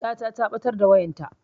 Yata ta ɓatar da wayanta